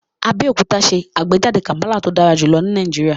Abeokuta n ṣe agbejade kampala to dara julọ ni Nàìjíríà